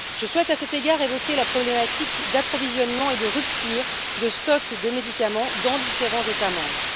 Je souhaite à cet égard évoquer la problématique d'approvisionnement et de rupture de stock de médicaments dans différents États membres.